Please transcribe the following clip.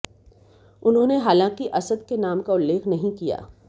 उन्होंने हालांकि असद के नाम का उल्लेख नही किया